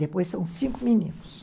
Depois são cinco meninos.